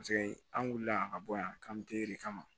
Paseke an wulila a ka bɔ yan k'an bɛ kama